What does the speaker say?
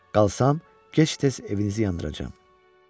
Qalsam, gec-tez evinizi yandıracağam.